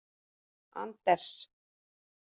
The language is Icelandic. Anders